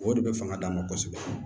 O de bɛ fanga d'an ma kɔsɛbɛ